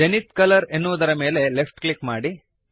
Zenith colour ಎನ್ನುವುದರ ಮೇಲೆ left click ಮಾಡಿರಿ